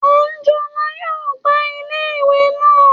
Àńjọlá yóò gbá iléèwé naa